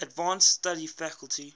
advanced study faculty